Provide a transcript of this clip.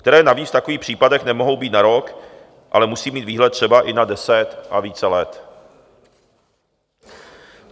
Které navíc v takových případech nemohou být na rok, ale musí mít výhled třeba i na deset a více let.